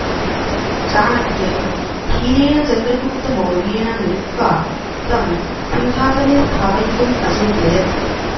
चाणक्यः धीरेण चन्द्रगुप्तमौर्येण मिलित्वा तं सिंहासने स्थापयितुम् अचिन्तयत्